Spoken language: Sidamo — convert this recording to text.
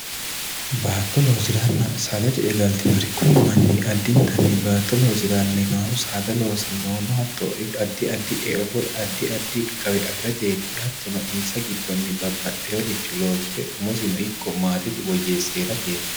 baatto loosiranna saada ce'e galtinori kuni manni addintanni baatto loosirannohu saada loosannohu no hatto addi addi eo woy addi addi gawe afirateeti hattono insa giddonni babbaxxeworicho loosire umosino ikko maatesi woyyeese herateeti